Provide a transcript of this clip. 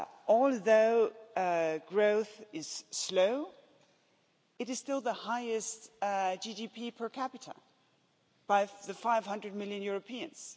Although growth is slow, it is still the highest GDP per capita, with 500 million Europeans.